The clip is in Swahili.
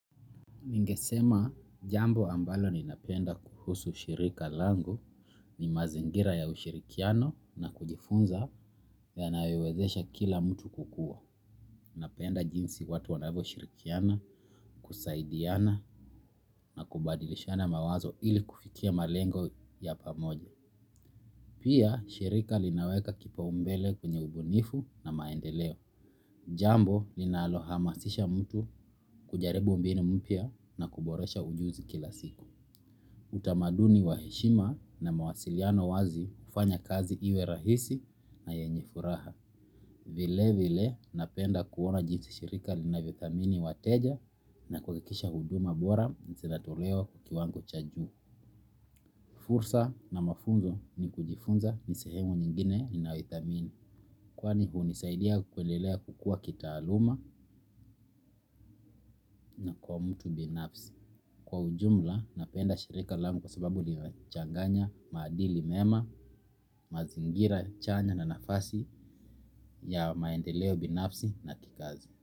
Ningesema jambo ambalo ninapenda kuhusu shirika langu ni mazingira ya ushirikiano na kujifunza yanawezesha kila mtu kukua. Napenda jinsi watu wanavyoshirikiana kusaidiana na kubadilishana mawazo ili kufikia malengo ya pamoja. Pia shirika linaweka kipaumbele kwenye ubunifu na maendeleo. Jambo linalohamasisha mtu kujaribu mbinu mpya na kuboresha ujuzi kila siku. Utamaduni wa heshima na mawasiliano wazi hufanya kazi iwe rahisi na yenye furaha. Vilevile napenda kuona jinsi shirika linavyothamini wateja na kuhakikisha huduma bora zinatolewa kwa kiwango cha juu. Fursa na mafunzo ni kujifunza ni sehemu nyingine ninayoithamini kwani hunisaidia kuendelea kukua kitaaluma na kwa mtu binafsi. Kwa ujumla napenda shirika langu kwa sababu linachanganya maadili mema, mazingira chanya na nafasi ya maendeleo binafsi na kikazi.